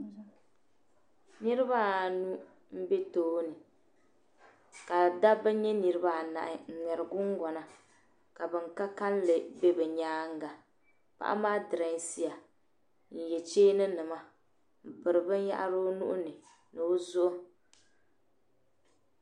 niriba anu m-be tooni ka dabba nye niriba anahi n-ŋmɛri gungɔna ka ban ka kalinli be bɛ nyaaŋa paɣa maa direesiya n-ye cheeninima m-piri binyɛhiri o nua ni ni o zuɣu